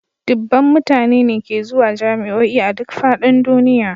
Dubban mutane ne ke zuwa jami'o'i a duk fadin duniya